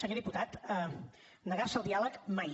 senyor diputat negar se al diàleg mai